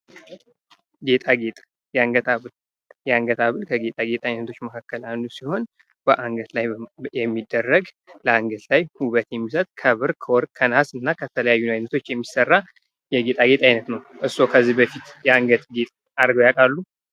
ጌጣጌጥ የአንገት ሀብል ጌጣጌጥወች ውስጥ አንድ ሲሆን አንገት ላይ የሚደረግ አንገት ላይ ውበት የሚሰጥ ከብር ከወርቅ ከነሐስና ከተለያዩ ነገሮች የሚሠራ ነውጌጣጌጥአይነት ነው። እርሶ ከዚ በፊት የአንገት ጌጣጌጥ አድርገው ያውቃሉ?